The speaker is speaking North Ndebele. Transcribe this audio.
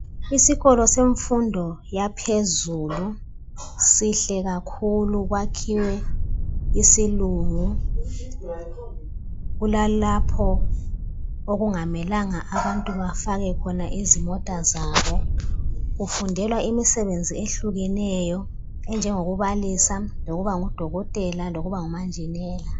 Isikolo semfundo yaphezulu sihle kakhulu, kwakhiwe isilungu. Kulalapho okungamelanga bafake khona izimota zabo. Kufundelwa imisebenzi eyehlukeneyo, njengokubalisa, loukuba ngudokotela, lokuba ngumanjinela.